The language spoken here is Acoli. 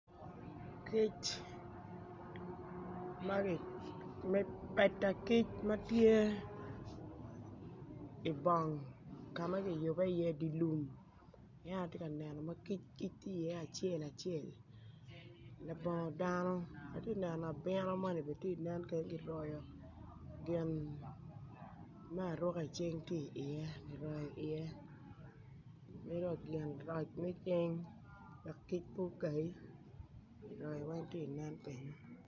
Peta kic ma tye i bung ka ma kiyube iye i di lum en aye atye ka neno ma kic tye iye acel acel labongo dano ati neno abino moni bene ti nen kenyo kiroyo gin me aruka i cing ti iye kiroyo iye ki dong gin roc me cing wek kic po okai joni weny ti nen kenyo